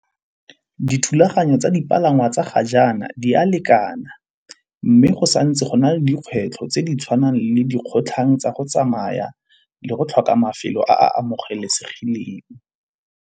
Dithulaganyo tsa dipalangwa tsa ga jaana di a lekana, mme go sa ntse go na le dikgwetlho tse di tshwanang le di kgotlhang tsa go tsamaya le go tlhoka mafelo a amogelesegileng.